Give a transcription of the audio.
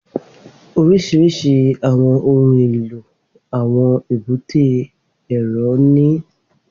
Oríṣiríṣi àwọn ohun èlò àwọn èbúté èrò ní